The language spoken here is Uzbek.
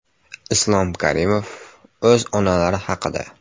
Islom Karimov o‘z onalari haqida .